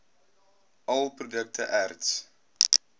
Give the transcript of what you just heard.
all produkte erts